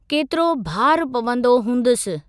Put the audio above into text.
केतिरो भारु पवंदो हुंदसि।